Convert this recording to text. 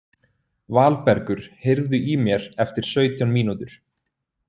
Valbergur, heyrðu í mér eftir sautján mínútur.